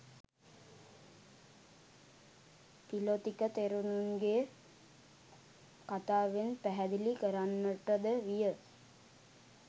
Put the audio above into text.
පිළොතික තෙරුන්ගේ කථාවෙන් පැහැදිලි කරන්නට ද විය.